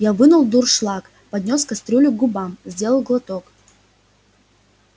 я вынул дуршлаг поднёс кастрюлю к губам сделал глоток